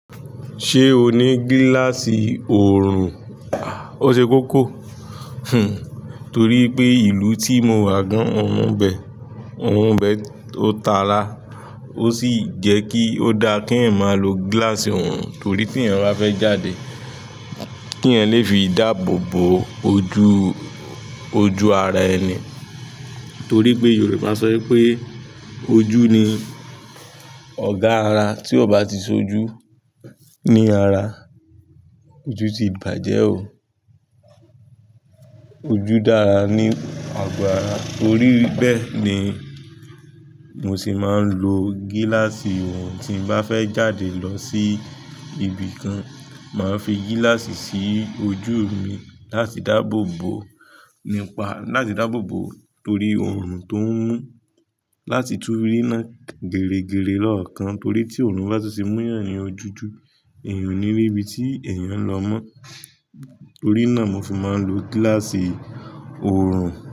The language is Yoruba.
Ṣé o ní gíláàsì oorun? O ṣe kókó, torí pé ìlú tí mo wà gan orùn ibẹ, ọrùn ibẹ ó ta ara. Ósì jẹ́kí ó dáa kéèyàn máa lo gílási orun torí téèyàn báfẹ́ jáde kéèyàn lè fi dáàbòbo ojú ara ẹni torí pé Yorùbá sọ wípé ojú ni ọ̀gá ara, tí ọ̀ bá ti sojú ní ara, ojú ti bàjẹ́ o. Ojú dára ní àgọ́ ara, torí bẹ́ẹ̀ ni mo sì máa ń lo gíláàsì oorun. Tí ń bá fẹ́ jáde lọ sí ibì kan, màá fi gíláàsì sí ojú mi láti dáàbò bo, nípa láti dáàbò bo torí oorun tó ń mú, láti tú ríná geregere lọ́ọ̀kan torí tí oorun bá tun ti mú yàn ní ojú ju, èèyàn ò ní rí ibi tí ẹ̀yàn ń lọ mọ́. Torí náà mo fi máa ń lo gíláàsì oorun.